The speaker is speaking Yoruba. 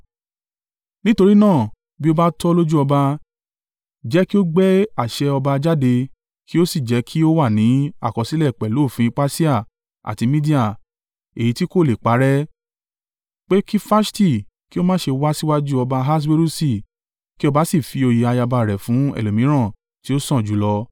“Nítorí náà, bí ó bá tọ́ lójú ọba, jẹ́ kí ó gbé àṣẹ ọba jáde, kí ó sì jẹ́ kí ó wà ní àkọsílẹ̀ pẹ̀lú òfin Persia àti Media, èyí tí kò le é parẹ́, pé kí Faṣti kí ó má ṣe wá síwájú ọba Ahaswerusi. Kí ọba sì fi oyè ayaba rẹ̀ fún ẹlòmíràn tí ó sàn jù ú lọ.